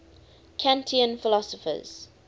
kantian philosophers